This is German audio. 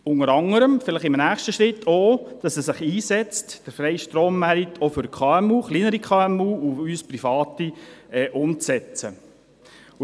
Dies unter anderem, indem er sich vielleicht in einem nächsten Schritt dafür einsetzt, dass der freie Strommarkt auch für kleinere KMU und uns Private umgesetzt wird.